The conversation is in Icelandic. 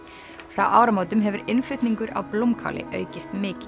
frá áramótum hefur innflutningur á blómkáli aukist mikið